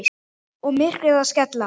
Og myrkrið að skella á.